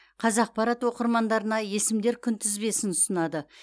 қазақпарат оқырмандарына есімдер күнтізбесін ұсынады